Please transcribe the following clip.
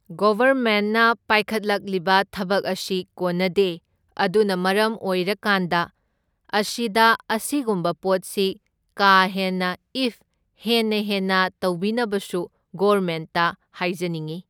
ꯒꯣꯚꯔꯃꯦꯟꯠꯅ ꯄꯥꯏꯈꯠꯂꯛꯂꯤꯕ ꯊꯕꯛ ꯑꯁꯤ ꯀꯣꯟꯅꯗꯦ, ꯑꯗꯨꯅ ꯃꯔꯝ ꯑꯣꯏꯔꯀꯥꯟꯗ ꯑꯁꯤꯗ ꯑꯁꯤꯒꯨꯝꯕ ꯄꯣꯠꯁꯤ ꯀꯥ ꯍꯦꯟꯅ ꯏꯐ ꯍꯦꯟꯅ ꯍꯦꯟꯅ ꯇꯧꯕꯤꯅꯕꯁꯨ ꯒꯣꯔꯃꯦꯟꯠꯇ ꯍꯥꯏꯖꯅꯤꯡꯏ